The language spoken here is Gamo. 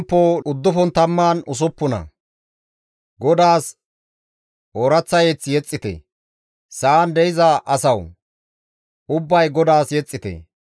GODAAS ooraththa mazamure yexxite; sa7an de7iza asawu! Ubbay GODAAS yexxite.